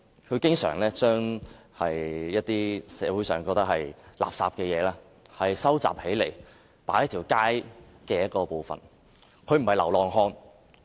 他經常把社會覺得是垃圾的東西收集起來，擺放在街上某處。